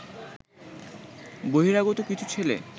বহিরাগত কিছু ছেলে